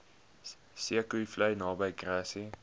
zeekoevlei naby grassy